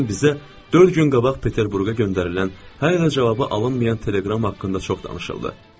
Dünən bizə dörd gün qabaq Peterburqa göndərilən hələ cavabı alınmayan teleqram haqqında çox danışıldı.